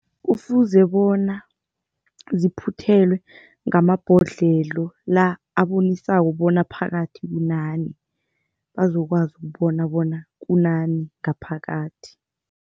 Kufuze bona ziphuthelwe ngamabhodlelo la abonisako bona phakathi kunani bazokwazi ukubona bona kunani ngaphakathi.